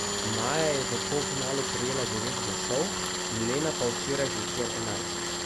Maja je v polfinalu prejela devet glasov, Milena pa včeraj zvečer enajst.